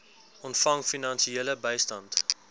ontvang finansiële bystand